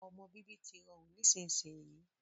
Ọmọ bíbí tí rọrùn nísinsìnyi